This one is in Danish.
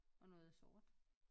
Og noget er sort